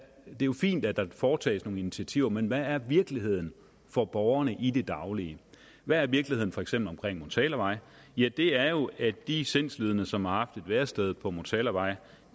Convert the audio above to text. jo fint at der foretages nogle initiativer men hvad er virkeligheden for borgerne i det daglige hvad er virkeligheden for eksempel omkring motalavej ja det er jo at de sindslidende som har haft et værested på motalavej